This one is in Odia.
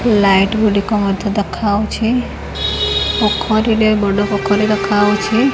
ଲାଇଟ୍ ଗୁଡ଼ିକ ମଧ୍ୟ ଦେଖାହୋଉଛି ପୋଖରୀରେ ବଡ଼ ପୋଖରୀ ଦେଖାହୋଉଛି।